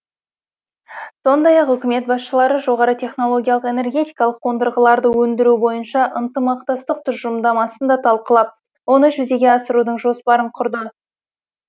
сондай ақ үкімет басшылары жоғары технологиялық энергетикалық қондырғаларды өндіру бойынша ынтымақтастық тұжырымдамасын да талқылап оны жүзеге асырудың жоспарын құрды